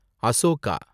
Ashoka